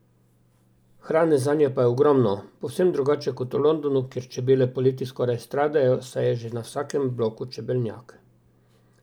Hrane zanje pa je ogromno, povsem drugače kot v Londonu, kjer čebele poleti skoraj stradajo, saj je že na vsakem bloku čebelnjak.